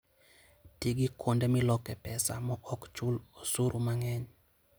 Ti gi kuonde milokoe pesa maok chul osuru mang'eny.